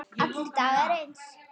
Allir dagar eins.